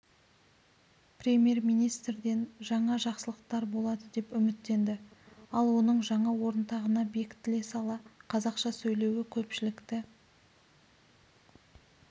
премьер-министрден жаңа жақсылықтар болады деп үміттенді ал оның жаңа орынтағына бекітіле сала қазақша сөйлеуі көпшілікті